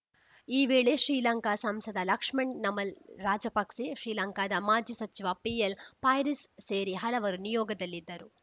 ಈ ವೇಳೆ ಶ್ರೀಲಂಕಾ ಸಂಸದ ಲಕ್ಷ್ಮಣ್‌ ನಮಲ್‌ ರಾಜಪಕ್ಸೆ ಶ್ರೀಲಂಕಾದ ಮಾಜಿ ಸಚಿವ ಪಿಎಲ್‌ ಪೈರಿಸ್‌ ಸೇರಿ ಹಲವರು ನಿಯೋಗದಲ್ಲಿ ಇದ್ದರು